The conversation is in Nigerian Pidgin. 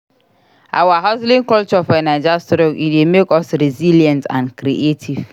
Our hustling culture for Naija strong; e dey make us resilient and creative.